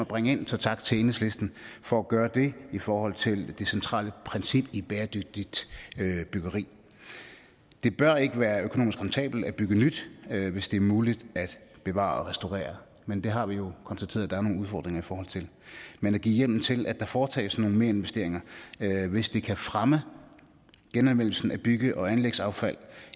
bringe ind så tak til enhedslisten for at gøre det i forhold til det centrale princip i bæredygtigt byggeri det bør ikke være økonomisk rentabelt at bygge nyt hvis det er muligt at bevare og restaurere men det har vi jo konstateret at der er nogle udfordringer i forhold til men at give hjemmel til at der foretages nogle merinvesteringer hvis det kan fremme genanvendelsen af bygge og anlægsaffald